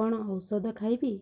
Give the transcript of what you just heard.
କଣ ଓଷଦ ଖାଇବି